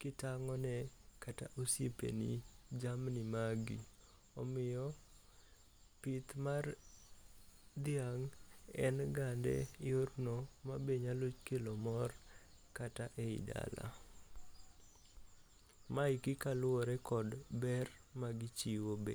kitang'one kata osiepeni jamni magi. Omiyo, pith mar dhiang', en gande yorno manyalo kelo mor kata e dala. Maeki kaluwore gi ber magichiwo be